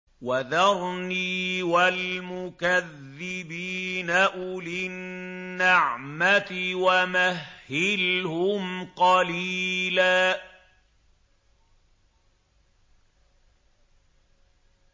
وَذَرْنِي وَالْمُكَذِّبِينَ أُولِي النَّعْمَةِ وَمَهِّلْهُمْ قَلِيلًا